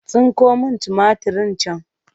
Tsinko min tumatirin can!